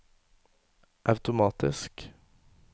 automatisk